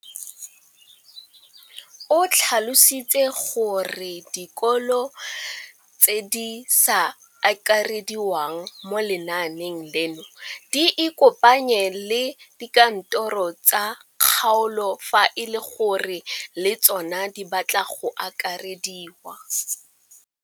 O tlhalositse gore dikolo tse di sa akarediwang mo lenaaneng leno di ikopanye le dikantoro tsa kgaolo fa e le gore le tsona di batla go akarediwa.